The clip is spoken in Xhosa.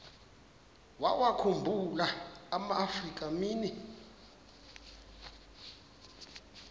wawakhumbul amaafrika mini